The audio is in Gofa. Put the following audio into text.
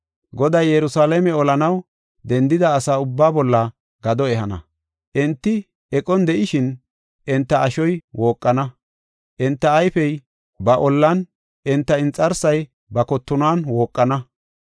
Goday Yerusalaame olanaw dendida asa ubbaa bolla gado ehana. Enti eqon de7ishin, enta ashoy wooqana; enta ayfey ba ollan, enta inxarsay ba kottonuwan wooqana.